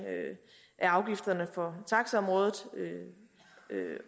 af afgifterne på taxaområdet